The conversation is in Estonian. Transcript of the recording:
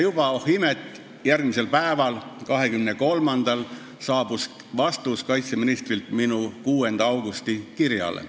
Ja oh imet, juba järgmisel päeval, 23-ndal saabus minu 6. augusti kirjale vastus kaitseministrilt.